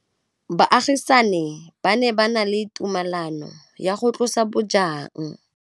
Baagisani ba ne ba na le tumalanô ya go tlosa bojang.